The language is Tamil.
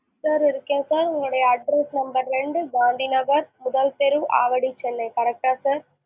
sir இருக்கேன் sir உங்களுடைய address number ரெண்டு, காந்தி நகர், முதல் தெரு, ஆவடி, சென்னை. correct டா sir?